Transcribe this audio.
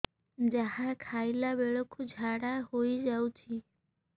ଯାହା ଖାଇଲା ବେଳକୁ ଝାଡ଼ା ହୋଇ ଯାଉଛି